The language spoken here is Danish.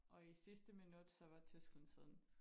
Og i sidste minut så var Tyskland sådan